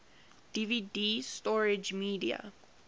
dvd storage media